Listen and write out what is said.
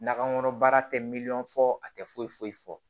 Nakɔkɔnɔ baara tɛ miliyɔn fɔ a tɛ foyi foyi fɔ